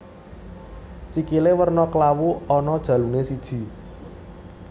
Sikilé werna klawu ana jaluné siji